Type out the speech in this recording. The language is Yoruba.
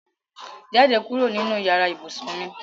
Jáde kúrò nínú yàrá ibùsùn mi!